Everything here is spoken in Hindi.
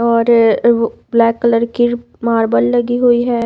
और वो ब्लैक कलर की मार्बल लगी हुई है।